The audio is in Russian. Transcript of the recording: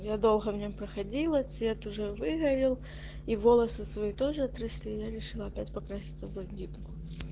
я долго в нём проходила цвет уже выгорел и волосы свои тоже отрасли я решила опять покраситься в блондинку